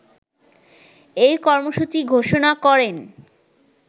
এই কর্মসূচি ঘোষণা করেন